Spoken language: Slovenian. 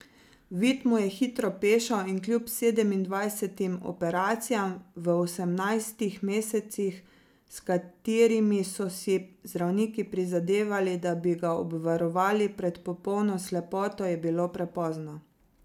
Vid mu je hitro pešal in kljub sedemindvajsetim operacijam v osemnajstih mesecih, s katerimi so si zdravniki prizadevali, da bi ga obvarovali pred popolno slepoto, je bilo prepozno.